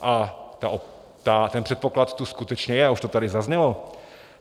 A ten předpoklad tu skutečně je a už to tady zaznělo.